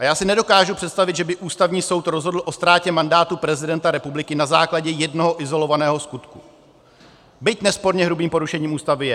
A já si nedokážu představit, že by Ústavní soud rozhodl o ztrátě mandátu prezidenta republiky na základě jednoho izolovaného skutku, byť nesporně hrubým porušením Ústavy je.